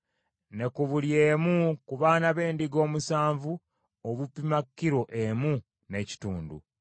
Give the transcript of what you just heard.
ne ku buli emu ku baana b’endiga omusanvu, obupima kilo emu n’ekitundu.